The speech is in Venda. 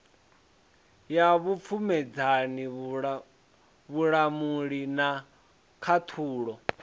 ya vhupfumedzani vhulamuli na khaṱhulo